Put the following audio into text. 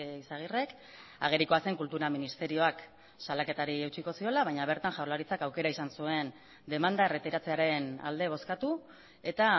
izagirrek agerikoa zen kultura ministerioak salaketari eutsiko ziola baina bertan jaurlaritzak aukera izan zuen demanda erretiratzearen alde bozkatu eta